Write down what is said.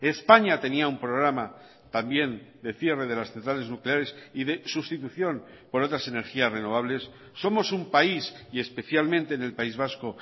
españa tenía un programa también de cierre de las centrales nucleares y de sustitución por otras energías renovables somos un país y especialmente en el país vasco